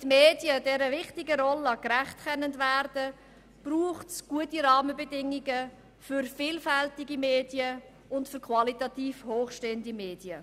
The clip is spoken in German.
Damit die Medien dieser wichtigen Rolle gerecht werden können, braucht es gute Rahmenbedingungen für vielfältige und qualitativ hochstehende Medien.